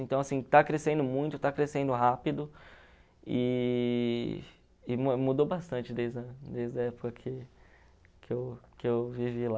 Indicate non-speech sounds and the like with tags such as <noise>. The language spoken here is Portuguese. Então, está crescendo muito, está crescendo rápido e e <unintelligible> mudou bastante desde a desde a época que que eu que eu vivi lá.